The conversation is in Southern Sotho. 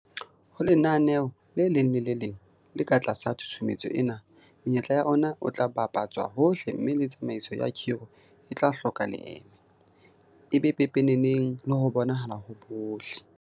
Ho lenaneo le leng le le leng le ka tlasa tshusumetso ena, menyetla ya ona e tla bapa tswa hohle mme le tsamaiso ya khiro e tla hloka leeme, e be pepeneneng le ho bonahala ho bohle.